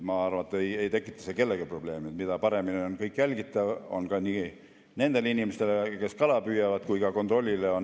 Ma arvan, et see ei tekita kellelegi probleeme, et kõik on paremini jälgitav, nii nendele inimestele, kes kala püüavad, kui ka kontrollile.